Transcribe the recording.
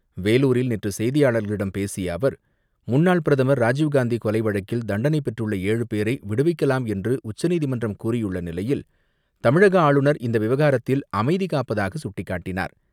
வேலூரில் நேற்று செய்தியாளர்களிடம் பேசிய அவர், முன்னாள் பிரதமர் ராஜீவ்காந்தி கொலை வழக்கில் தண்டனை பெற்றுள்ள ஏழு பேரை விடுவிக்கலாம் என்று உச்சநீதிமன்றம் கூறியுள்ள நிலையில், தமிழக ஆளுநர் இந்த விவகாரத்தில் அமைதி காப்பதாக சுட்டிக்காட்டினார்.